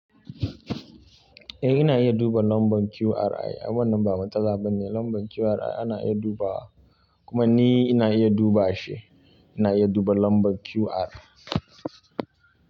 Eh ina iya duba lambar QR ai. Ai wannan ba matsala ba ne lambar QR ana iya dubawa kuma ni ina iya duba shi. Ina iya duba lambar QR.